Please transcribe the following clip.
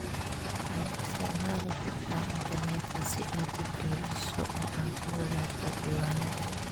Waxaad isticmaali kartaa internetka si aad u kaydiso oo aad u wadaagto diiwaanada.